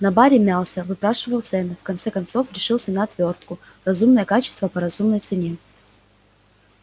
на баре мялся выспрашивал цены в конце концов решился на отвёртку разумное качество по разумной цене